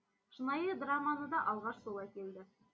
шынайы драманы да алғаш сол әкелді